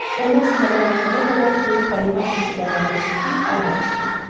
Onlar səhərdən axşama qədər böyük Danimarka siqarlarını çəkib ayran içirlər.